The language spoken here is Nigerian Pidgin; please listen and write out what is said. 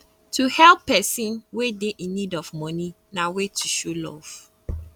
to help persin wey de in need of money na way to show love